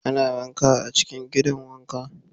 Ana wanka a cikin gidan wanka.